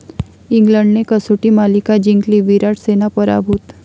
इंग्लंडने कसोटी मालिका जिंकली, 'विराट सेना' पराभूत